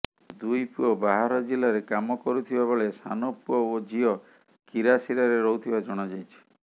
ଦୁଇ ପୁଅ ବାହାର ଜିଲ୍ଲାରେ କାମ କରୁଥିବା ବେଳେ ସାନ ପୁଅ ଓ ଝିଅ କିରାସିରାରେ ରହୁଥିବା ଜଣାଯାଇଛି